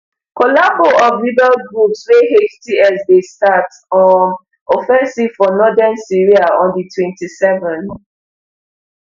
collabo of rebel groups wey hts dey start um offensive for northern syria on d twenty-seven